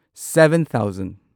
seven thousand